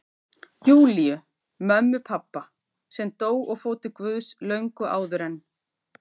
Júlíu, mömmu pabba, sem dó og fór til Guðs löngu áður en